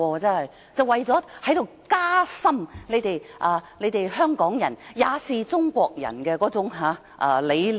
全是為了加深香港人也是中國人那理念。